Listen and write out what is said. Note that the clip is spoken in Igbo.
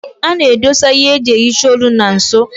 A na-edosa ihe eji ehicha olu na nso.